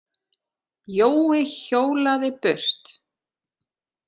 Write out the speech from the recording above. Jói hjólaði burt.